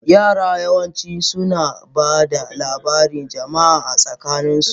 Yara yawanci suna ba da labarun jama'a a tsakaninsu.